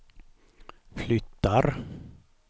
flyttar